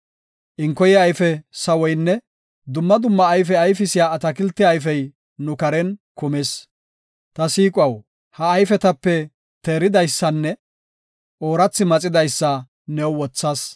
Inkoye ayfe sawoynne dumma dumma ufaysiya atakilte ayfey nu karen kumis. Ta siiquwaw! Ha ayfetape teeridaysanne oorathi maxidaysa new wothas.